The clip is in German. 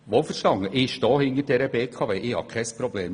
Wohlverstanden: Ich stehe hinter der BKW, da habe ich kein Problem.